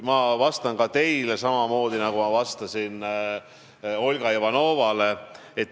Ma vastan teile samamoodi, nagu ma vastasin Olga Ivanovale.